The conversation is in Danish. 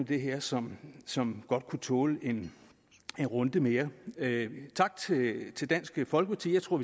det her som som godt kunne tåle en runde mere tak til dansk folkeparti jeg tror